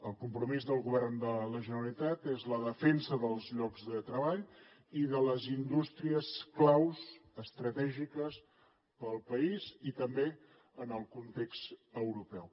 el compromís del govern de la generalitat és la defensa dels llocs de treball i de les indústries clau estratègiques per al país i també en el context europeu